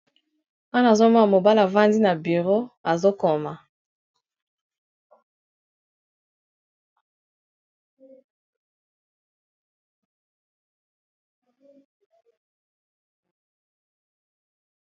Awa nazomona mobala avandi na bureau azokoma.